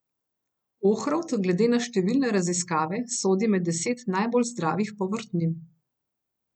Ohrovt glede na številne raziskave sodi med deset najbolj zdravilnih povrtnin.